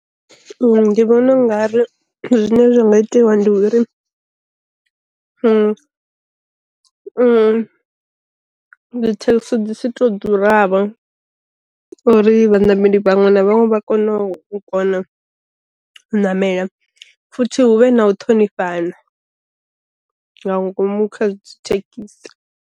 Ndi vhona u nga ri zwine zwa nga itiwa ndi uri, dzi thekisi dzi si to ḓura vho uri vha nameli vhaṅwe na vhaṅwe vha kone u namela futhi hu vhe na u ṱhonifhana nga ngomu kha thekhisi.